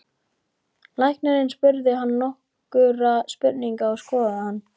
Læknirinn spurði hann nokkurra spurninga og skoðaði hann.